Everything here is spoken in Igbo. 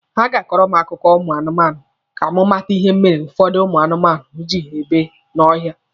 Ha ga-akọrọ m akụkọ ụmụ anụmanụ ka m mata ihe mere ụfọdụ ụmụ anụmanụ ji ebi n'ọhịa